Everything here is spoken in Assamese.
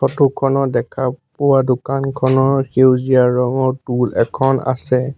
ফটো খনত দেখা পোৱা দোকানখনৰ সেউজীয়া ৰঙৰ টূল্ এখন আছে।